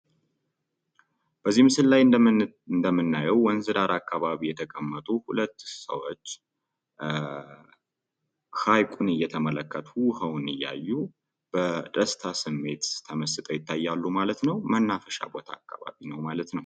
በዚህ ምስል ላይ እንደምናየው ወንዝ ዳር ላይ የተቀመጡ ሁለት ሰዎች ሃይቁን እየተመለከቱ፣ ውሃውን እያዩ በደስታ ስሜት ተመስጠው ይታያሉ ማለት ነው። መናፈሻ አካባቢ ነው ማለት ነው።